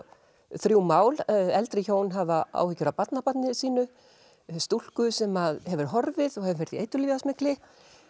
þrjú mál eldri hjón hafa áhyggjur af barnabarni sínu stúlku sem hefur horfið og hefur verið í eiturlyfjasmygli